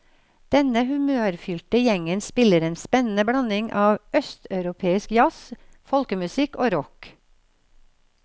Denne humørfylte gjengen spiller en spennende blanding av østeuropeisk jazz, folkemusikk og rock.